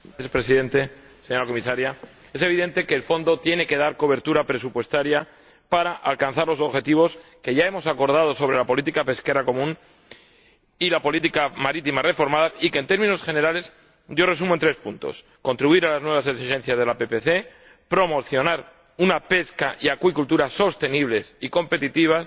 Señor Presidente, señora Comisaria, es evidente que el Fondo tiene que dar cobertura presupuestaria para alcanzar los objetivos que ya hemos acordado sobre la política pesquera común y la política marítima reformada y que, en términos generales, yo resumo en tres puntos contribuir a las nuevas exigencias de la PPC, promocionar una pesca y acuicultura sostenibles y competitivas